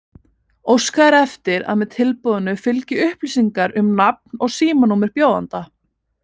Óskað er eftir að með tilboðinu fylgi upplýsingar um nafn og símanúmer bjóðanda.